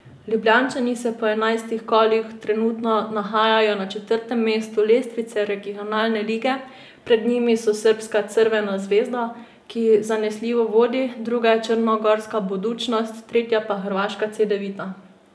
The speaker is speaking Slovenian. Ljubljančani se po enajstih kolih trenutno nahajajo na četrtem mestu lestvice regionalne lige, pred njimi so srbska Crvena Zvezda, ki zanesljivo vodi, druga je črnogorska Budućnost, tretja pa hrvaška Cedevita.